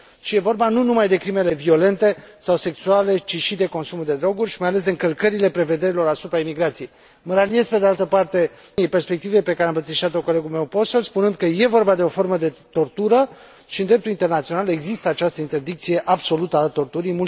Este vorba nu numai de crimele violente sau sexuale, ci și de consumul de droguri și, mai ales, de încălcările prevederilor asupra imigrației. Mă raliez, pe de altă parte, perspectivei pe care a îmbrățișat o colegul meu Posselt, spunând că este vorba de tortură și în dreptul internațional există această interdicție absolută a torturii.